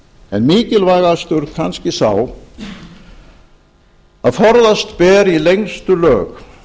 en mikilvægastur kannski sá að forðast ber í lengstu lög